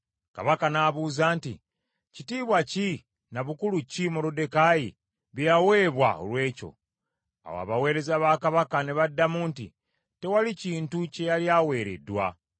Kabaka n’abuuza nti, “Kitiibwa ki na bukulu ki Moluddekaayi bye yaweebwa olw’ekyo?” Awo abaweereza ba Kabaka ne baddamu nti, “Tewali kintu kye yali aweereddwa.”